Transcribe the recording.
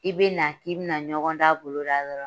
I bɛ na k'i bɛna ɲɔgɔndan boloda yɔrɔ